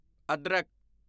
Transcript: ਅਦਰਕ